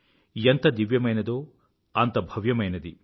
ఎంత దివ్యమైనదో అంత భవ్యమైనది